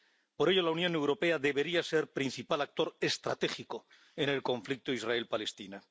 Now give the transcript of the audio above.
Por ello, la Unión Europea debería ser principal actor estratégico en el conflicto entre Israel y Palestina.